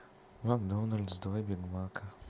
макдональдс два бигмака